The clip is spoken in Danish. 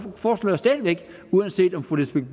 foreslår jeg stadig væk uanset om fru lisbeth